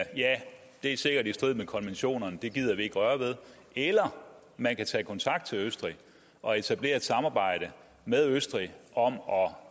det sikkert er i strid med konventionerne så det gider vi ikke røre ved eller man kan tage kontakt til østrig og etablere et samarbejde med østrig om